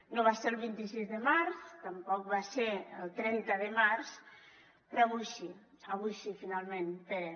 no va ser el vint sis de març tampoc va ser el trenta de març però avui sí avui sí finalment pere